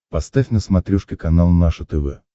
поставь на смотрешке канал наше тв